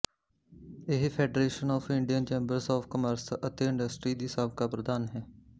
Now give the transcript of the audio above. ਇਹ federation of Indian chambers of commerce and industry ਦੀ ਸਾਬਕਾ ਪ੍ਰਧਾਨ ਹੈ